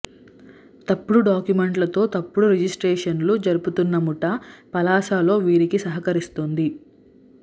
తప్పుడు డాక్యుమెంట్లతో తప్పుడు రిజిస్టేషన్లు జరుపుతున్న ముఠా పలాసలో వీరికి సహకరిస్తోంది